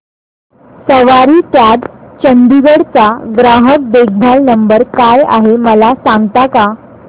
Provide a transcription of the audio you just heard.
सवारी cabs Chandigarh चा ग्राहक देखभाल नंबर काय आहे मला सांगता का